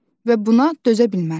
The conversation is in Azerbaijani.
Və buna dözə bilmərəm.